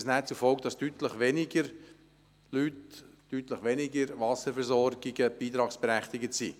Das hätte aber zur Folge, dass deutlich weniger Leute, deutlich weniger Wasserversorgungen beitragsberechtigt wären.